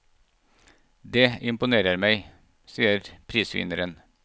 Dét imponerer meg, sier prisvinneren.